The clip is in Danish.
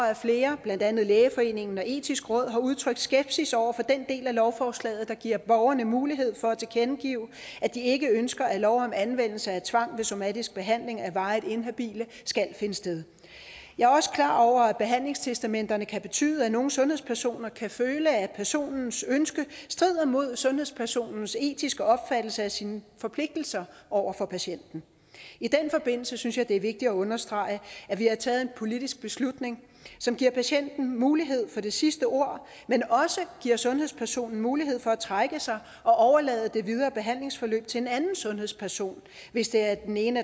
at flere blandt andet lægeforeningen og det etiske råd har udtrykt skepsis over for den del af lovforslaget der giver borgerne mulighed for at tilkendegive at de ikke ønsker at lov om anvendelse af tvang ved somatisk behandling af varigt inhabile skal finde sted jeg er også klar over at behandlingstestamenterne kan betyde er nogle sundhedspersoner der kan føle at personens ønske strider mod sundhedspersonens etiske opfattelse af sine forpligtelser over for patienten i den forbindelse synes jeg det er vigtigt at understrege at vi har taget en politisk beslutning som giver patienten mulighed for det sidste ord men også giver sundhedspersonen mulighed for at trække sig og overlade det videre behandlingsforløb til en anden sundhedsperson hvis det af den ene